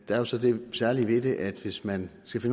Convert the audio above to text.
er også det særlige ved det at hvis man skal